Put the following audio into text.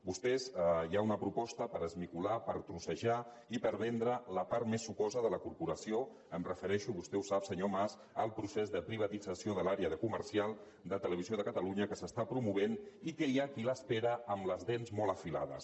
vostès hi ha una proposta per esmicolar per trossejar i per vendre la part més sucosa de la corporació em refereixo vostè ho sap senyor mas al procés de privatització de l’àrea de comercial de televisió de catalunya que s’està promovent i que hi ha qui l’espera amb les dents molt afilades